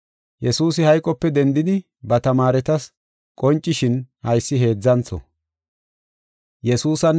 Yesuusi hayqope dendidi ba tamaaretas qoncishin haysi heedzantho.